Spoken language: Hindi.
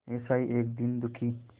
ऐसा ही एक दीन दुखी